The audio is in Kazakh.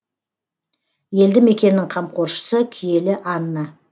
елді мекеннің қамқоршысы киелі анна